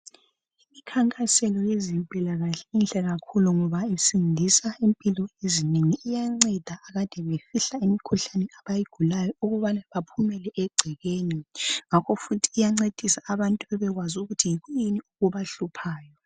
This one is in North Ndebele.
Imikhankaso yezempilakahle inhle kakhulu ngoba isindisa impilo ezinengi. Iyanceda akade befihla imikhuhlane abayigulayo ukubana baphumele egcekeni . Ngakho futhi iyancedisa abantu bebekwazi ukuthi yikuyini okubahluphayo.